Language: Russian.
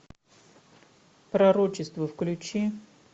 пророчество включи